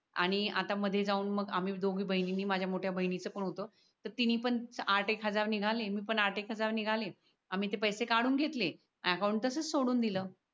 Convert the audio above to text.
आणि आता मध्ये जाऊन मग आम्ही दोघी बहिणींनी माझ्या मोठ्या बहिणीचे पण होतं तर तिने पण आठ एक हजार निघाले मी पण आठ एक हजार निघालेत आम्ही ते पैसे काढून घेतले आणि अकावूंट तसच सोडून दिल